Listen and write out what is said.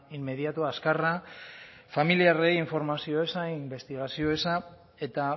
inmediatoa azkarra familiarrei informazio eza inbestigazio eza eta